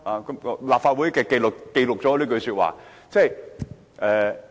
請立法會秘書記錄我這句說話。